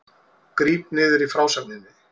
Gríp niður í frásögninni